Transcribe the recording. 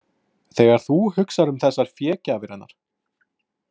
Þegar þú hugsar um þessar fégjafir hennar.